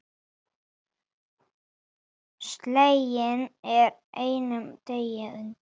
Sleginn er á einum degi.